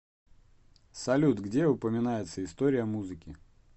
салют где упоминается история музыки